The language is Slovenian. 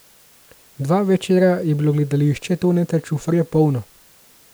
Dva večera je bilo gledališče Toneta Čufarja polno.